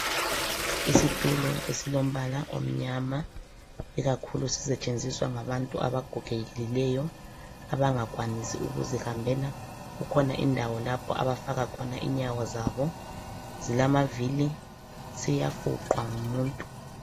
Isitulo esilombala omnyama, ikakhulu sisetshenziswa ngabantu abagogekileyo . Abangakhwanisi ukuzihambela ,kukhona indawo lapho abafaka khona inyawo zabo .Zilamavili siyafuqwa ngumuntu.